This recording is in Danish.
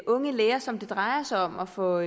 unge læger som det drejer sig om og for